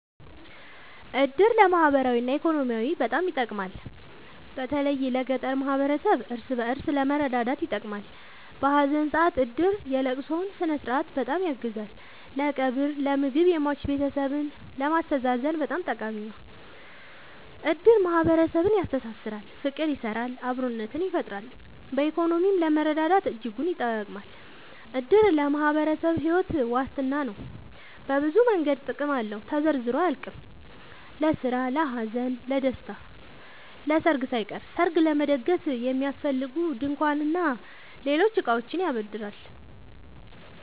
እድር ለማህበራዊ እና ኢኮኖሚያዊ በጣም ይጠቅማል። በተለይ ለገጠር ማህበረሰብ እርስ በእርስ ለመረዳዳት ይጠቅማል። በሀዘን ሰአት እድር የለቅሶውን ስነስርዓት በጣም ያግዛል ለቀብር ለምግብ የሟች ቤተሰብን ለማስተዛዘን በጣም ጠቃሚ ነው። እድር ማህረሰብን ያስተሳስራል። ፍቅር ይሰራል አብሮነትን ይፈጥራል። በኢኮኖሚም ለመረዳዳት እጅጉን ይጠብማል። እድር ለአንድ ማህበረሰብ ሒወት ዋስትና ነው። በብዙ መንገድ ጥቅም አለው ተዘርዝሮ አያልቅም። ለስራ ለሀዘን ለደሰታ። ለሰርግ ሳይቀር ሰርግ ለመደገስ የሚያስፈልጉ ድንኳን እና ሌሎች እቃዎችን ያበድራል